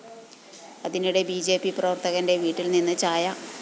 അതിനിടെ B J P പ്രവര്‍ത്തകന്റെ വീട്ടില്‍ നിന്ന്‌ ചായ